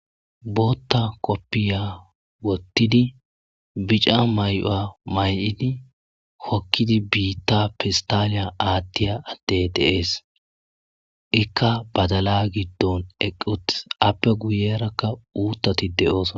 Bootta kofiya wottidii bicca mayi'uwa may'idii hookidi biitta pestaliyan aattidi diya addey de'es ika baddalla giddon eqqi uuttis aappe guyerakka uuttati de'iossonna